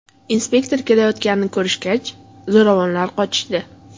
Inspektor kelayotganini ko‘rishgach, zo‘ravonlar qochishdi.